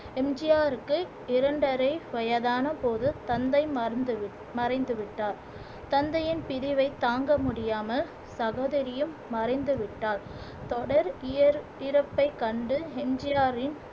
M G ஆர்க்கு இரண்டரை வயதான போது தந்தை மறந்து வி மறைந்து விட்டார் தந்தையின் பிரிவை தாங்க முடியாமல் சகோதரியும் மறைந்துவிட்டார் தொடர் இயர் இறப்பை கண்டு எம் ஜி ஆரின்